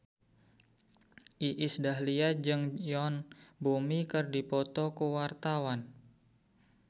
Iis Dahlia jeung Yoon Bomi keur dipoto ku wartawan